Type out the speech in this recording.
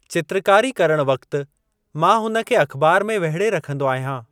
चित्रकारी करण वक़्तु मां हुन खे अख़बार में वेहिड़े रखंदो आहियां।